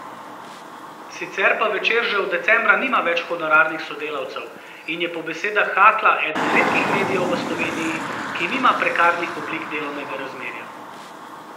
Sicer pa Večer že od decembra nima več honorarnih sodelavcev in je po besedah Hakla eden redkih medijev v Sloveniji, ki nima prekarnih oblik delovnega razmerja.